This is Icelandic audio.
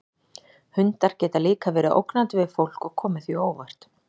Hundar geta líka verið ógnandi við fólk og komið því á óvart.